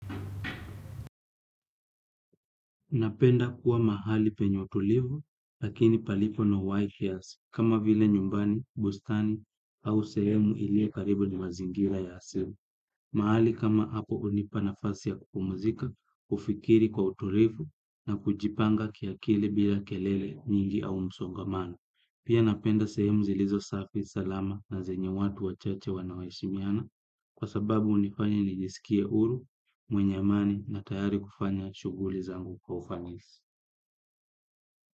Napenda kuwa mahali penye utulivu, lakini palipo na white hairs, kama vile nyumbani, bustani au sehemu ilio karibu ni mazingira ya asimu. Mahali kama hapo unipa nafasi ya kupumuzika, ufikiri kwa utulivu na kujipanga kiakili bila kelele nyingi au msongamano. Pia napenda sehemu zilizo safi salama na zenye watu wachache wanaoheshimiana. Kwa sababu unifanya nijisikie huru, mwenye amani na tayari kufanya shughli zangu kwa ufanisi.